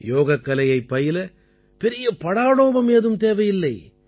யோகக்கலையைப் பயில பெரிய படாடோபம் ஏதும் தேவையில்லை